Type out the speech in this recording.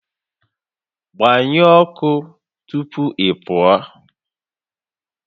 Gbanyụọ ọkụ tupu ị pụọ